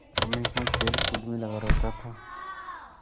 हमेशा खेलकूद में लगा रहता था